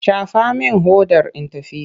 Shafa min hodar in tafi!